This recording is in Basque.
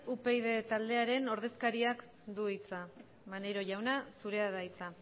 upyd taldearen ordezkariak du hitza maneiro jauna zurea da hitza